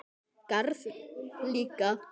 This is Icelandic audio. Garð líka.